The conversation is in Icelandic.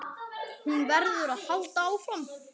Hún verður að halda áfram.